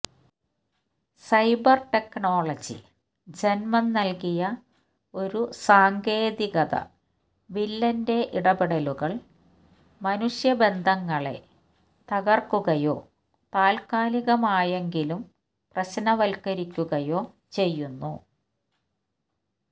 cyber technology ജന്മം നല്കിയ ഒരു സാങ്കേതികതവില്ലന്റെ ഇടപെടലുകള് മനുഷ്യ ബന്ധങ്ങളെ തകര്ക്കുകയോ താല്ക്കാലികമായെങ്കിലും പ്രശ്നവല്ക്കരിക്കുകയോ ചെയ്യുന്നു